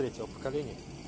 третьего поколения